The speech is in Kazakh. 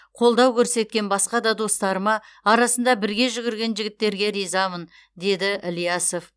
қолдау көрсеткен басқа да достарыма арасында бірге жүгірген жігіттерге ризамын деді ілиясов